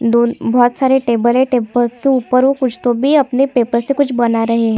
दोनों बहुत सारे टैबल है टैबल के ऊपर वो कुछ तो भी अपने पेपर से कुछ बना रहे है।